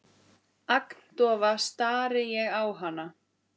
Agndofa stari ég á hana.